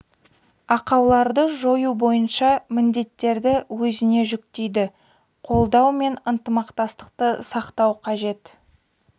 ақауларды жою бойынша міндеттерді өзіне жүктейді қолдау мен ынтымақтастықты сақтау қажет